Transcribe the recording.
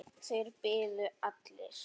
Þeir biðu allir.